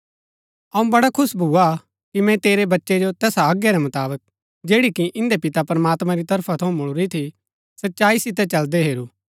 अऊँ बड़ा खुश भुआ कि मैंई तेरै बच्चै जो तैसा आज्ञा रै मुताबक जैड़ी कि इन्दै पिता प्रमात्मां री तरफा थऊँ मुळुरी थी सच्चाई सितै चलदै हैरू